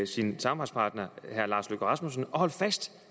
sin samarbejdspartner herre lars løkke rasmussen at holde fast